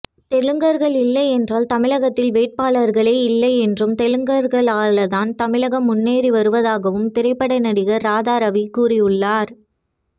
தெலுங்கர்கள் இல்லை என்றால் தமிழகத்தில் வேட்பாளர்களே இல்லை என்றும் தெலுங்கர்களால்தான் தமிழகம் முன்னேறி வருவதாகவும் திரைப்பட நடிகர் ராதாரவி கூறியுள்ளார்